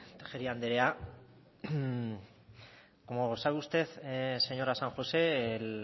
tejeria anderea como sabe usted señora san josé el